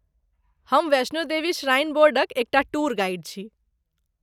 हम वैष्णो देवी श्राइन बोर्डक एक टा टूर गाइड छी।